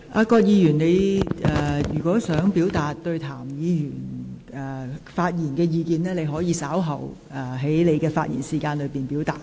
葛議員，如你對譚議員的發言有意見，你可於稍後發言時表達。